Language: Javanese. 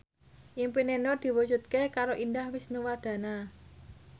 impine Nur diwujudke karo Indah Wisnuwardana